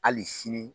Hali sini